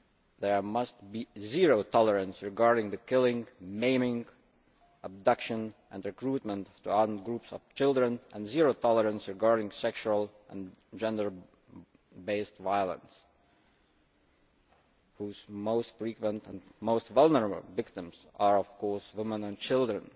There must be zero tolerance regarding the killing, maiming, abduction and recruitment to armed groups of children, and zero tolerance regarding sexual and gender based violence, whose most frequent and most vulnerable victims are of course women and children.